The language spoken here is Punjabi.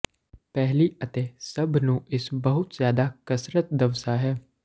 ਪਹਿਲੀ ਅਤੇ ਸਭ ਨੂੰ ਇਸ ਬਹੁਤ ਜ਼ਿਆਦਾ ਕਸਰਤ ਦਵਸਆ ਹੈ